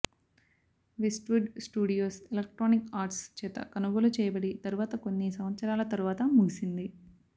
Westwood Studios Electronic Arts చేత కొనుగోలు చేయబడి తరువాత కొన్ని సంవత్సరాల తరువాత ముగిసింది